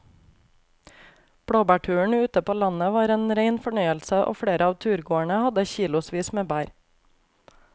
Blåbærturen ute på landet var en rein fornøyelse og flere av turgåerene hadde kilosvis med bær.